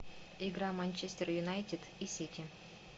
игра манчестер юнайтед и сити